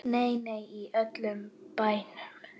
Nei, nei, í öllum bænum.